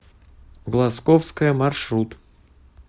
глазковская маршрут